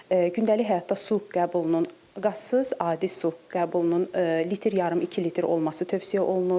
Gündəlik həyatda su qəbulunun qazsız adi su qəbulunun litr, yarım iki litr olması tövsiyə olunur.